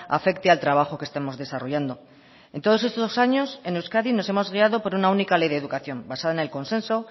afecte al trabajo que estemos desarrollando en todos estos años en euskadi nos hemos guiado por una única ley de educación basada en el consenso